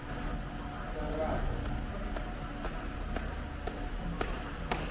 faraho